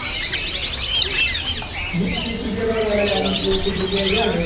વિશ તીસ રૂપીયા મોય માલ અમુક કોઈ જગાય જોય તો ન